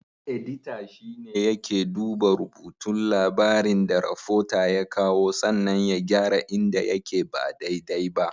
Edita shine yake duba rubutun labarin da rafota ya kawo sannan ya gyara inda yake ba dai-dai ba.